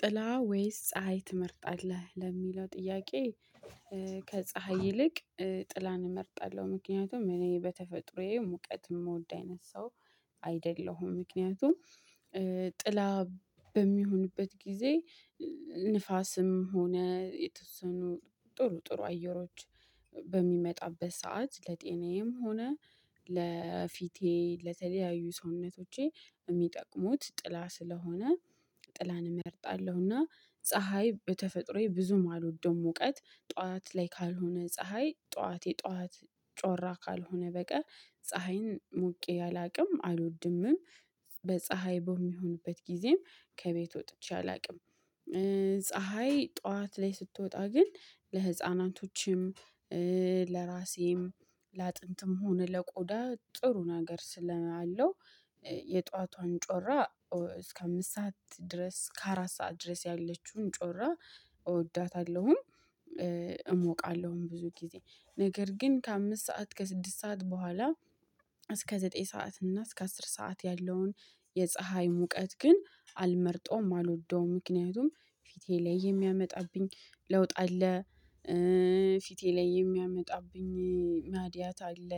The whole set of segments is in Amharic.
ጥላ ወይስ ፀሀይ ትመርጣለህ ለሚለው ጥያቄ? ከፀሀይ ይልቅ ጥላን እመርጣለሁ ምክንያቱም እኔ በተፈጥሮዬ ሙቀት የምወድ አይነት ሰው አይደለሁም። ምክንያቱም ጥላ በሚሆንበት ጊዜ ንፋስም ሆነ የተወሰኑ ጥሩ ጥሩ አየሮች በሚመጣበት ሰዓት ለጤናዬም ሆነ ለፊቴ ለተለያዩ ሰውነቶቼ የሚጠቅሙት ጥላ ስለሆነ ጥላን እመርጣለሁና ፀሀይ በተፈጥሮዬ ብዙም አልወደውም። እውቀት ጠዋት ላይ ካልሆነ ፀሀይ ጠዋት የጠዋት ጮራ ካልሆነ በቀር ፀሀይን ሞቄ አላውቅም አልወድምም። በፀሀይ በሚሆንበት ጊዜ ከቤት ወጥቼ አላውቅም። ፀሀይ ጠዋት ላይ ስትወጣ ግን ለህፃናቶችም ለራሴም ለአጥንትም ሆነ ለቆዳ ጥሩ ነገር ስላለው። የጧቷን ጮራ እስከ አምስት ሰዓት ድረስ ከአራት ሰዓት ድረስ ያለችውን ጮራ እወዳታለሁን። እሞቃለሁን ብዙ ጊዜ ነገር ግን ከአምስት ሰዓት ከስድስት ሰዓት በኋላ እስከ ዘጠኝ ሰዓት እና እስከ አስር ሰዓት ያለውን የፀሀይ ሙቀት ግን አልመርጠውም አልወደውም ምክንያቱም ፊቴ ላይ የሚያመጣብኝ ለውጥ አለ። ፊቴ ላይ የሚያመጣብኝ ማድያት አለ።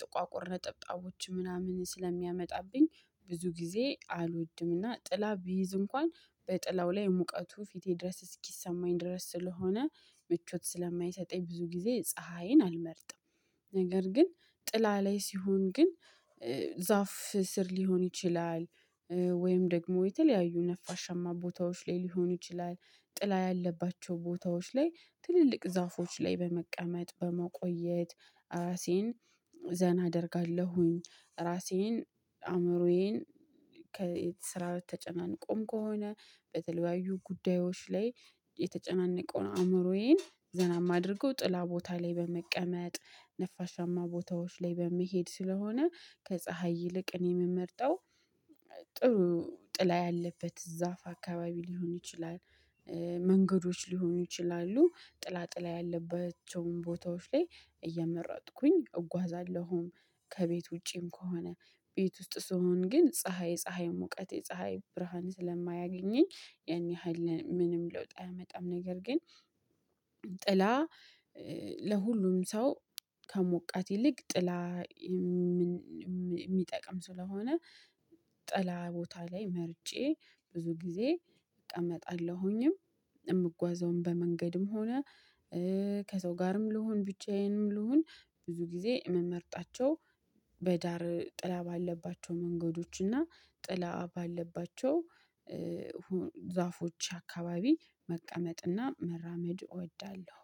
ጥቋቁር ነጠብጣቦች ምናምን ስለሚያመጣብኝ ብዙ ጊዜ አልወድምና ጥላ ቢይዝ እንኳን በጥላው ላይ ሙቀቱ ፊቴ ድረስ እስኪሰማኝ ድረስ ስለሆነ ምቾት ስለማይሰጠኝ ብዙ ጊዜ ፀሀይን አልመርጥም። ነገር ግን ጥላ ላይ ሲሆን ግን ዛፍ ስር ሊሆን ይችላል። ወይም ደግሞ የተለያዩ ነፋሻማ ቦታዎች ላይ ሊሆን ይችላል። ጥላ ያለባቸው ቦታዎች ላይ ትልልቅ ዛፎች ላይ በመቀመጥ በመቆየት ራሴን ዘና አደርጋለሁኝ። ራሴን አእምሮዬን ከየት ስራ በተጨናንቆም ከሆነ በተለያዩ ጉዳዮች ላይ የተጨናነቀው ነው አእምሮዬን ዘና የማደርገው ጥላ ቦታ ላይ በመቀመጥ ነፋሻማ ቦታዎች ላይ በመሄድ ስለሆነ ከፀሀይ ይልቅ እኔ የምመርጠው ጥሩ ጥላ ያለበት ዛፍ አካባቢ ሊሆን ይችላል። መንገዶች ሊሆኑ ይችላሉ ጥላጥላ ያለባቸውን ቦታዎች ላይ እየመረጥኩኝ እጓዛለሁም። ከቤት ውጪም ከሆነ ቤት ውስጥ ስሆን ግን ፀሀይ ፀሀይ ሙቀት የፀሀይ ብርሃን ስለማያገኘኝ ያን ያህል ምንም ለውጥ አያመጣም። ነገር ግን ጥላ ለሁሉም ሰው ከሞቃት ይልቅ ጥላ የሚጠቅም ስለሆነ ጥላ ቦታ ላይ መርጬ ብዙ ጊዜ እቀመጣለሁኝም። የምጓዘውም በመንገድም ሆነ ከሰው ጋርም ልሁን ብቻዬንም ልሁን ብዙ ጊዜ ምመርጣቸው በዳር ጥላ ባለባቸው መንገዶች እና ጥላ ባለባቸው ዛፎች አካባቢ መቀመጥና መራመድ እወዳለሁ